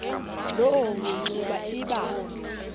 loo mingxuma iba